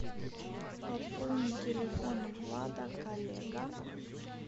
пополни телефон влада коллега